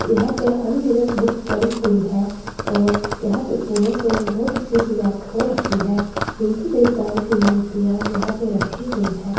यहां पे अनगिनत बुक्स पड़ी हुई हैं और यहां पे फूलों से बहोत अच्छे से सजावट हो रखी है हिंदू देवताओं की मूर्तियां यहां पे रखी हुई है।